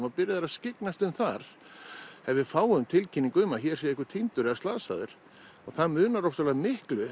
og byrjað að skyggnast þar ef við fáum tilkynningu að hér sé einhver týndur eða slasaður það munar ofsalega miklu